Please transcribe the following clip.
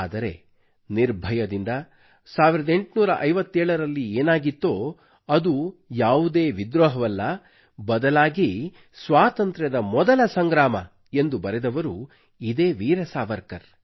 ಆದರೆ ನಿರ್ಭಯದಿಂದ 1857 ರಲ್ಲಿ ಏನಾಗಿತ್ತೋ ಅದು ಯಾವುದೇ ವಿದ್ರೋಹವಲ್ಲ ಬದಲಾಗಿ ಸ್ವಾತಂತ್ರ್ಯದ ಮೊದಲ ಸಂಗ್ರಾಮ ಎಂದು ಬರೆದವರು ಇದೇ ವೀರ ಸಾವರ್ಕರ್